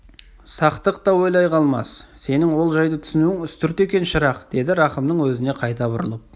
сақтық та ойламай қалмас сенің ол жайды түсінуің үстірт екен шырақ деді рахымның өзіне қайта бұрылып